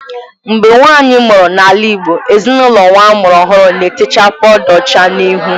Mgbe nwaanyị mụrụ n’ala Igbo, ezinaụlọ nwa a mụrụ ọhụrụ na-etecha pawuda ọcha n’ihu